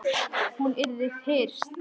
Hún yrði fyrst.